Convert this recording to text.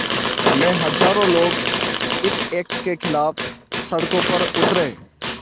में हज़ारों लोग इस एक्ट के ख़िलाफ़ सड़कों पर उतरे